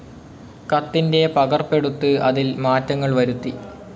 കത്തിൻ്റെ പകർപ്പെടുത്ത് അതിൽമാറ്റങ്ങൾ വരുത്തി